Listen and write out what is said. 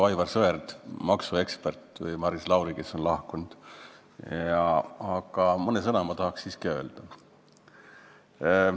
Ma ei ole maksuekspert nagu Aivar Sõerd või Maris Lauri, kes on siit lahkunud, aga mõne sõna tahan siiski öelda.